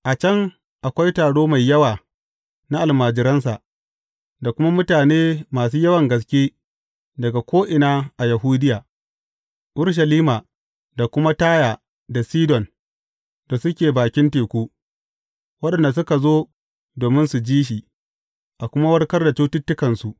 A can, akwai taro mai yawa na almajiransa, da kuma mutane masu yawan gaske daga ko’ina a Yahudiya, Urushalima da kuma Taya da Sidon da suke bakin teku, waɗanda suka zo domin su ji shi, a kuma warkar da cututtukansu.